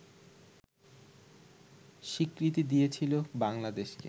স্বীকৃতি দিয়েছিল বাংলাদেশকে